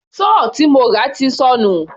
Sọ́ọ̀ tí mo rà ti sọnù.